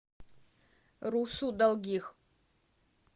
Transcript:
русу долгих